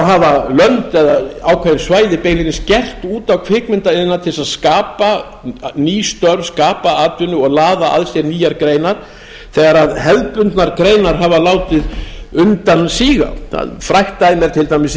hafa lönd eða ákveðin svæði beinlínis gert út á kvikmyndaiðnaðinn til þess að skapa ný störf skapa atvinnu og laða að sér nýjar greinar þegar hefðbundnar greinar hafa látið undan síga það er frægt dæmi til dæmis